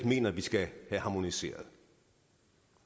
mener vi skal have harmoniseret